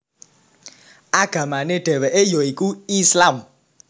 Agamane dheweke ya iku Islam